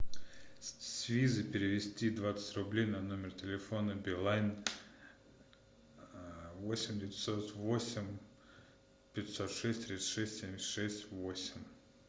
с визы перевести двадцать рублей на номер телефона билайн восемь девятьсот восемь пятьсот шесть тридцать шесть семьдесят шесть восемь